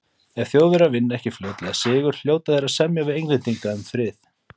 Ef Þjóðverjar vinna ekki fljótlega sigur, hljóta þeir að semja við Englendinga um frið.